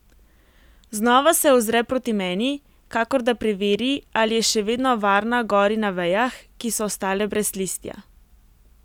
Znova se ozre proti meni, kakor da preveri, ali je še vedno varna gori na vejah, ki so ostale brez listja.